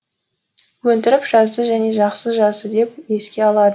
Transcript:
өндіріп жазды және жақсы жазды деп еске алады